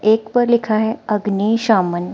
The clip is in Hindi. एक पर लिखा है अग्निशामन।